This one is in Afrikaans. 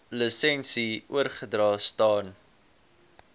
lisensie oorgedra staan